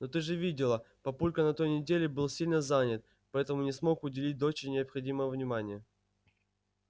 но ты же видела папулька на той неделе был сильно занят поэтому не смог уделить доче необходимого внимания